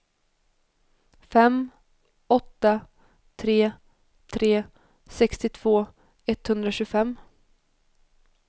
fem åtta tre tre sextiotvå etthundratjugofem